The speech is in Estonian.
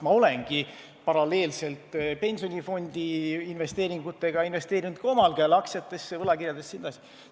Ma olengi paralleelselt pensionifondi investeeringutega investeerinud ka omal käel aktsiatesse, võlakirjadesse jne.